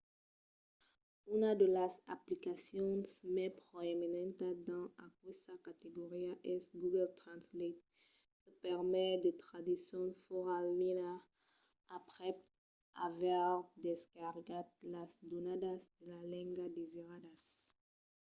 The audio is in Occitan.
una de las aplicacions mai proeminentas dins aquesta categoria es google translate que permet de traduccion fòra linha aprèp aver descargat las donadas de la lenga desiradas